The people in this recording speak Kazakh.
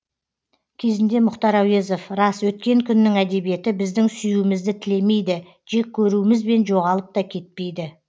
кезінде мұхтар әуезов рас өткен күннің әдебиеті біздің сүюімізді тілемейді жек көруімізбен жоғалып та кетпейді